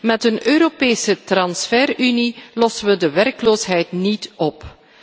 Met een Europese transfer unie lossen we de werkloosheid niet